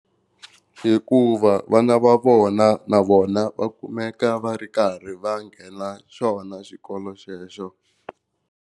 Hikuva vana va vona na vona va kumeka va ri karhi va nghena xona xikolo xexo.